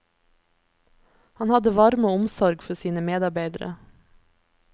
Han hadde varme og omsorg for sine medarbeidere.